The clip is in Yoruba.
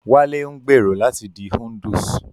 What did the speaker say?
Wálé ń gbèrò láti di Hindus